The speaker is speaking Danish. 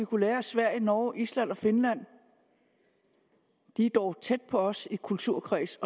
kunne lære af sverige norge island og finland de er dog tæt på os i kulturkreds